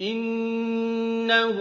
إِنَّهُ